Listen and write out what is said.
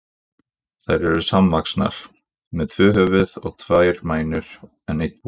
Þær eru samvaxnar, með tvö höfuð og tvær mænur en einn búk.